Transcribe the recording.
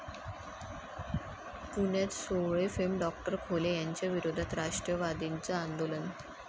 पुण्यात 'सोवळे'फेम डॉ. खोले यांच्याविरोधात राष्ट्रवादीचं आंदोलन